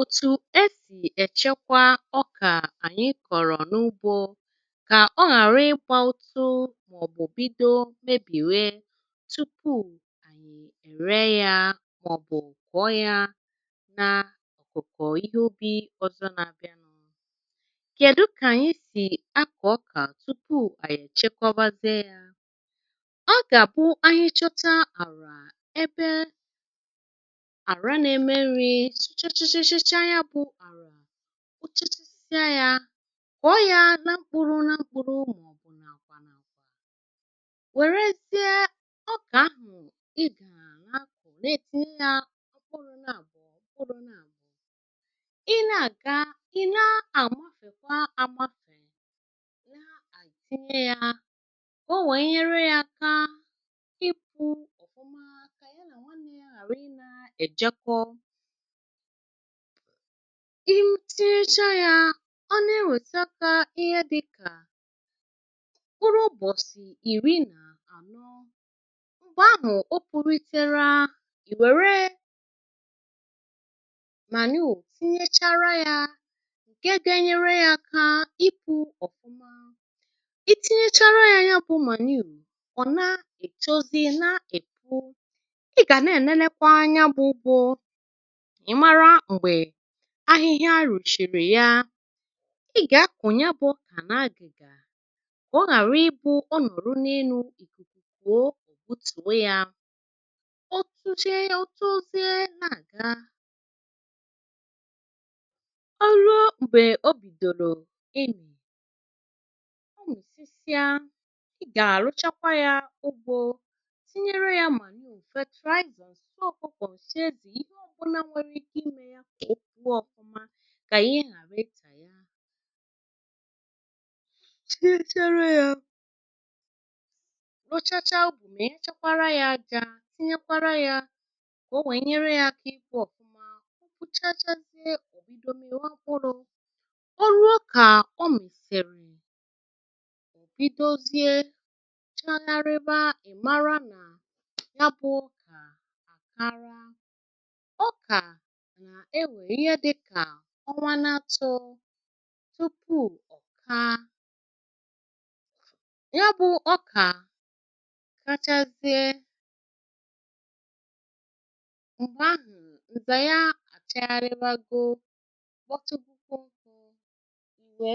òtù e sì èchekwa ọkà ànyị kọ̀rọ̀ n’ugbȯ kà ọ ghàrị ịgbȧ ụtụ màọ̀bụ̀ bido mebìwe tụpụ ànyị ère yȧ màọ̀bụ̀ kụọ ya na àkụkụ ihe ubì ọzọ nȧ-abịa nụ, kèdu kà ànyị sì akọ ọkà tupu ànyị èchekwa bȧzie yȧ ọ gàbụ ahichọcha àla ebe ara na eme nri sụchachachacha ya bụ̀ àrà suchachasịa yȧ kụọ ya na mkpụrụ na mkpụrụ màọ̀bụ̀ nà-àkwa nà-àkwa wèrezie ọkà ahụ̀ ịkọrọ na ala-ahụ neetinye yȧ mpụrụ na abụ mpụrụ na abụ i na aga i na-amafèkwa amafèkwa na-etinye yȧ ka ọ̀ nwèe nyere yȧ akaa ịpụ̇ ọ̀fuma kà a yana nwanne ya ghàrị ị na-èjeko ọnụ itinyecha yȧ ọ na-enwėte aka ihe dịkà kpụrụ ụbọ̀sị̀ ìri nà anọ mgbè ahụ̀ okpuritere ìwère mànuọ̀ tinyechara yȧ ǹke ga-enyere yȧ akȧ ipụ ọ̀fụma itinyechara yȧ ya bụ̇ mànuọ̀ ọ̀ na-ètọzi na-èpụ ị gà na-enenekwa nya bụ ụgbọ ka imara gbè ahịhịa a rùchìrì ya i gà-akụ̀ nya bụ̀ àna ngigà ka ọghàri i̇bụ̇ ọ nọ̀rụ n’ènụ ìkùkù kuò ọ butùo yȧ otuche otu oziė na-àga ọ ruo m̀bè o bìdòlò imi o misisie i gà-àrụchakwa yȧ ugbȯ tinyere ya mànụọ, nsi ọkụkọ, nsi ezi, ihè ọbụla nwere ike ime ka ọpụ ọfụma ka ihe ghàri ita yà tinyèchara ya mpọchacha ubi tinyekwara yà àjà tinyekwara ya ka ọwee nyere ya aka ipụ ọfuma rụọchacha ọbidọ miba mpụrụ ọ ruo kà ọ mìsìrì òbidozie chaharibà ịmara na nya bụ ọka akara, ọka na-ewe ihe dika ọnwanatọ̇ tupu ọ̀ka ya bụ̇ ọkà kachazie mgbe ahụ nza ya achaharibagọ mpọtụkwụọ